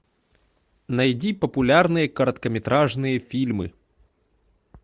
найди популярные короткометражные фильмы